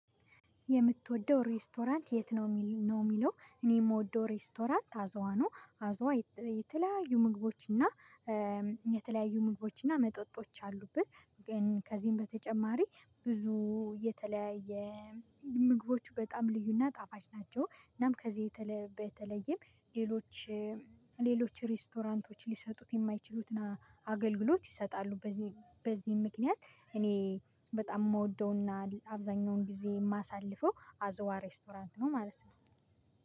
የምትወደው ሬስቶራንት የት ነው? ነውሚለው እኔ የምወደው ሬስቶራንት አዝዋ ነው። አዝዋ የተለያዩ ምግቦች እና የተለያዩ ምግቦች እና መጠጦች ያሉበት። ግን ከዚህም በተጨማሪ ብዙ የተለያየ ምግቦቹ በጣም ልዩና ጣፋጭ ናቸው። እናም ከዚህ በተለይም ሌሎች ሌሎች ሬስቶራንቶች ሊሰጡት የማይችሉትን አገልግሎት ይሰጣሉ። በዚህ በዚህ ምክንያት እኔ በጣም የምወደውና አብዛኛውን ጊዜ የማሳልፈው አዝዋ ሬስቶራንት ነው። ማለት ነው።